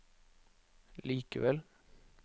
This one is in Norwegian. likevel